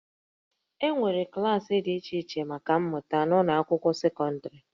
E nwere klaasị dị iche iche maka mmụta n'ụlọ akwụkwọ sekọndịrị